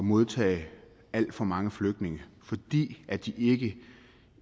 modtage alt for mange flygtninge fordi de ikke